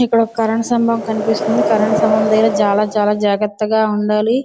ఇక్కడ ఒక కరెంటు సంబం కనిపిస్తున్నది. కరెంటు సంభం దగ్గర చాలా చాలా జాగ్రత్తగా ఉండాలి.